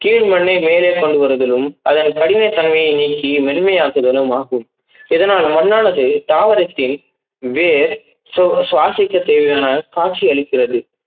கீழ் மண்ணை மேலே கொண்டுவருதிலும் அதன் படிமை தன்மை நீக்கி மேன்மை ஆக்குவதும் ஆகும். இதனால் மண்ணானது தாவரத்தின் வேர் சுவா~சுவாசிக்க தேவையான காட்சி அளிக்கிறது.